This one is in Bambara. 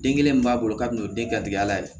Den kelen min b'a bolo kabini o ye den garijigɛ la ye